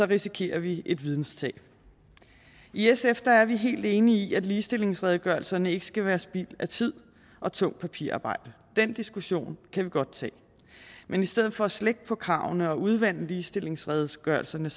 risikerer vi et videnstab i sf er vi helt enige i at ligestillingsredegørelserne ikke skal være spild af tid og tungt papirarbejde den diskussion kan vi godt tage men i stedet for at slække på kravene og udvande ligestillingsredegørelserne